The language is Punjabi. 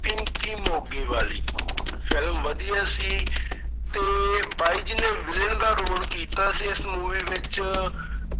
ਪਿੰਕੀ ਮੋਗੇ ਵਾਲੀ film ਵਧੀਆ ਸੀ ਤੇ ਬਾਈ ਜੀ ਨੇ villain ਦਾ ਰੋਲ ਕੀਤਾ ਸੀ ਇਸ movie ਵਿੱਚ।